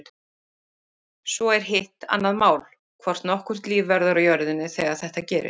Svo er hitt annað mál, hvort nokkurt líf verður á jörðinni þegar þetta gerist.